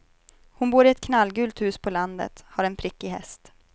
Hon bor i ett knallgult hus på landet, har en prickig häst.